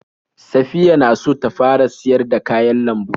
Saffiya na so ta fara siyar da kayan lambu.